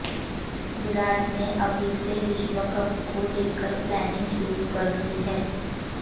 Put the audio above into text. विराट ने अभी से विश्वकप को लेकर प्लानिंग शुरू कर दी है